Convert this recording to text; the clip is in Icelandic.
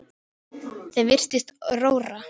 Þeim virtist rórra.